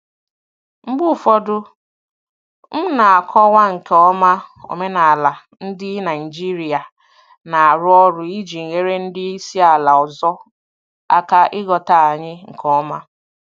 Mgbe ụfọdụ, m na-akọwa nke ọma omenala ndị Naijiria na-arụ ọrụ iji nyere ndị isi ala ọzọ aka ịghọta anyị nke ọma.